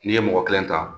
N'i ye mɔgɔ kelen ta